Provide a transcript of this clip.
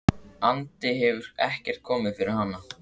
andi hefur ekkert komið fyrir hana.